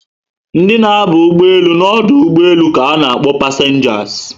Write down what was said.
Ndị na aba ụgbọelu na ọdụ ụgbọelu ka na akpọ passengers